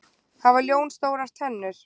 Hvað hafa ljón stórar tennur?